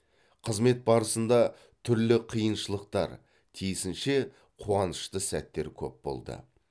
қызмет барысында түрлі қиыншылықтар тиісінше қуанышты сәттер көп болды